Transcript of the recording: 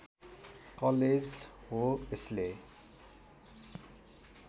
college हो यसले